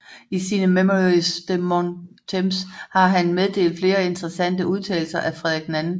I sine Mémoires de mon temps har han meddelt flere interessante udtalelser af Frederik II